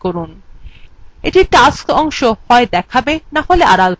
এটি tasks অংশ হয় দেখাবে নাহলে আড়াল করবে